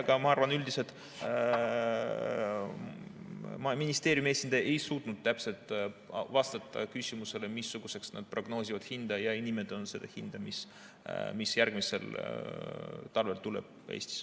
Aga ma arvan üldiselt, et ministeeriumi esindaja ei suutnud täpselt vastata küsimusele, missuguseks nad prognoosivad hinda, ja ei nimetanud seda hinda, mis järgmisel talvel tuleb Eestis.